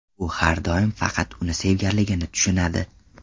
U har doim faqat uni sevganligini tushunadi.